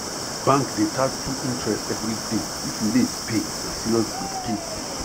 bank dey charge 2 interest every day if you late pay na serious gbege